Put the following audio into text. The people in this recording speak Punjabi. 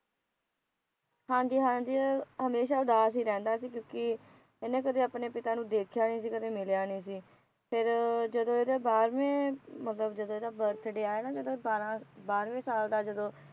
ਹਾਂ ਜੀ ਹਾਂ ਜੀ ਹਮੇਸ਼ਾ ਉਦਾਸ ਹੀ ਰਹਿਦਾ ਸੀ ਕਿਉਕਿ ਇਹਨੇ ਕਦੇ ਆਪਣੇ ਪਿਤਾ ਨੂੰ ਦੇਖਿਆ ਨਹੀ ਸੀ ਕਦੇ ਮਿਲੀਆ ਨਹੀ ਸੀ ਫਿਰ ਜਦੋਂ ਇਹਦੇ ਬਾਰਵੇ ਮਤਲਬ ਜਦੋਂ ਇਹਦਾ ਬਰਥਡੇ ਆਇਆ ਜਦੋਂ ਇਹ ਬਾਹਰਾ ਬਾਰਵੇ ਸਾਲ ਜਦੋਂ